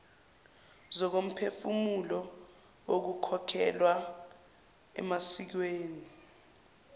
zokomphefumulo nokukholelwa emasikweni